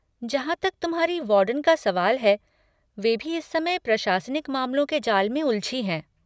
जहाँ तक तुम्हारी वार्डन का सवाल है, वे भी इस समय प्रशासनिक मामलों के जाल में उलझी हैं।